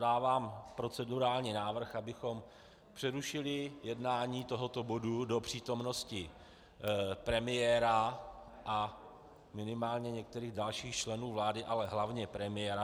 Dávám procedurální návrh, abychom přerušili jednání tohoto bodu do přítomnosti premiéra a minimálně některých dalších členů vlády, ale hlavně premiéra.